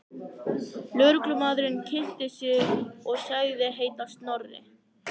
Lögreglumaðurinn kynnti sig og sagðist heita Snorri.